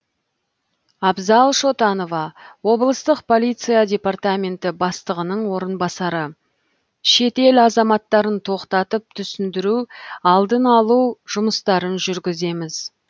абзал шотанова облыстық полиция департаменті бастығының орынбасары шет ел азаматтарын тоқтатып түсіндіру алдын алу жұмыстарын жүргіземіз